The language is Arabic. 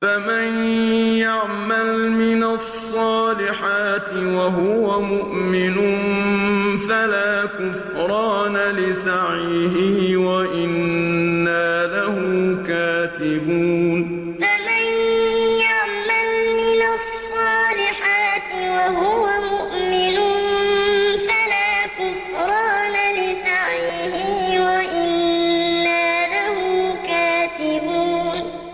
فَمَن يَعْمَلْ مِنَ الصَّالِحَاتِ وَهُوَ مُؤْمِنٌ فَلَا كُفْرَانَ لِسَعْيِهِ وَإِنَّا لَهُ كَاتِبُونَ فَمَن يَعْمَلْ مِنَ الصَّالِحَاتِ وَهُوَ مُؤْمِنٌ فَلَا كُفْرَانَ لِسَعْيِهِ وَإِنَّا لَهُ كَاتِبُونَ